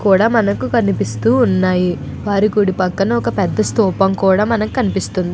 కూడా మనకు కనిపిస్తూ ఉన్నాయి. గుడి పక్కన పెద్ద స్థూపం కూడా మనకు కనిపిస్తుంది.